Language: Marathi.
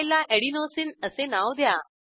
फाईलला एडेनोसिन असे नाव द्या